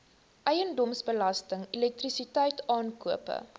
eiendomsbelasting elektrisiteit aankope